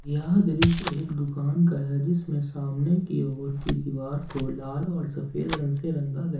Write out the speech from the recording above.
यह दृश्य एक दुकान का है जिसमें सामने की ओर की दीवार को लाल और सफेद रंग से रंग गया--